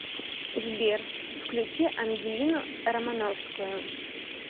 сбер включи ангелину романовскую